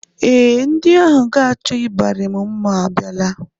Ee, ndị ahụ ga-achọ ịbarị m mma abịala